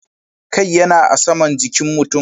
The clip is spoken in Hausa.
Kai yana a saman jikin mutum.